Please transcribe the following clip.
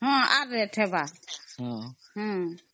rate ହେବ